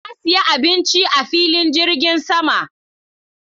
Na siya abinci a filin jirgin sama